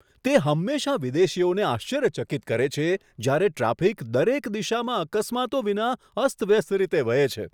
તે હંમેશાં વિદેશીઓને આશ્ચર્યચકિત કરે છે જ્યારે ટ્રાફિક દરેક દિશામાં અકસ્માતો વિના અસ્તવ્યસ્ત રીતે વહે છે.